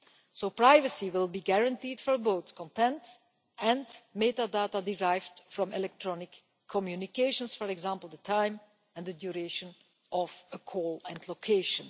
So privacy will be guaranteed for both content and metadata derived from electronic communications, for example the time and duration of a call and location.